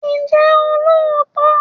Ǹjẹ́ o lóòótọ́?